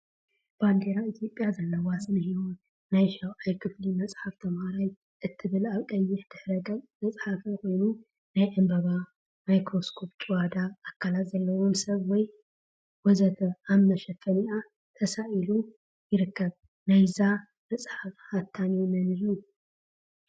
ባንዴራ ኢትዮጵያ ዘለዋ ስነህይወት ናይ 7ይ ክፍሊ መፅሓፍ ተምሃራይ እትብል አብ ቀይሕ ድሕረ ገፅ ዝተፀሓፈ ኮይኑ፤ ናይ ዕምበባ፣ ማክሮስኮፕ፣ ጭዋዳ አካላት ዘለዎ ሰብ ወዘተ አብ መሸፈኒአ ተሳኢሉ ይርከብ፡፡ ናይዛ መፅሓፍ ሓታሚ መን እዩ?